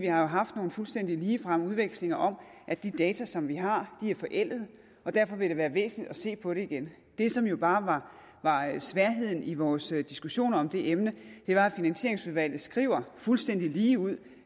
har haft nogle fuldstændig ligefremme udvekslinger om at de data som vi har er forældede og derfor vil det være væsentligt at se på det igen det som jo bare var sværheden i vores diskussion om det emne var at finansieringsudvalget skriver fuldstændig ligeud